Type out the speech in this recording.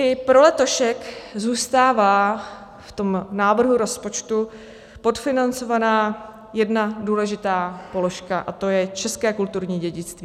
I pro letošek zůstává v tom návrhu rozpočtu podfinancovaná jedna důležitá položka, a to je české kulturní dědictví.